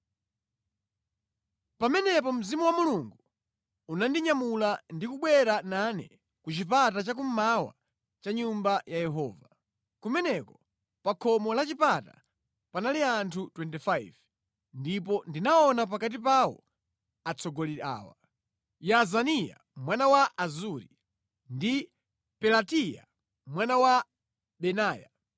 Pamenepo Mzimu wa Mulungu unandinyamula ndi kubwera nane ku chipata cha kummawa cha Nyumba ya Yehova. Kumeneko pa khomo la chipata panali anthu 25, ndipo ndinaona pakati pawo atsogoleri awa: Yaazaniya mwana wa Azuri ndi Pelatiya mwana wa Benaya.